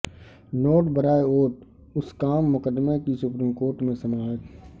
note برائے vote scam مقدمہ کی سپریم کورٹ میں سماعت